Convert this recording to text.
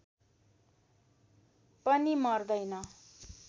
पनि मर्दैन